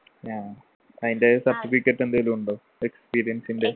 ഏഹ് അതിൻ്റെ certificate എന്തേലും ഉണ്ടോ experience ൻ്റെ